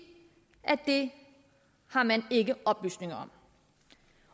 at det har man ikke oplysninger